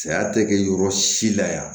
Saya tɛ kɛ yɔrɔ si la yan